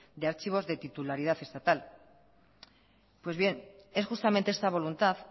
de archivos de titularidad estatal pues bien es justamente esta voluntad